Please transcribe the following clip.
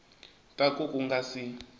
ta ku ku nga si